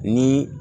Ni